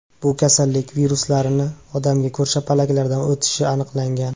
Bu kasallik viruslarini odamga ko‘rshapalaklardan o‘tishi aniqlangan.